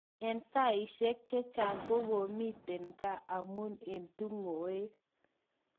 Eng saishek chechang kokyomiten ga amun eng tungoek.